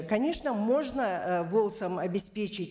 конечно можно ы волс ом обеспечить